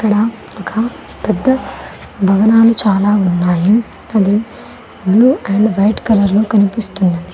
అక్కడ ఒక పెద్ద భవనాలు చాలా ఉన్నాయి అది బ్లూ అండ్ వైట్ కలర్ లో కనిపిస్తున్నది.